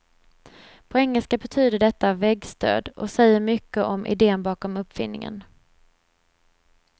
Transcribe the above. På engelska betyder detta väggstöd och säger mycket om iden bakom uppfinningen.